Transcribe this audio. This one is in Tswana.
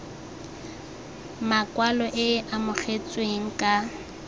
makwalo e e amogetsweng ka